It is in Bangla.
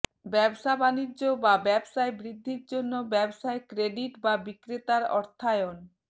ব্যবসা বাণিজ্য বা ব্যবসায় বৃদ্ধির জন্য ব্যবসায় ক্রেডিট বা বিক্রেতার অর্থায়ন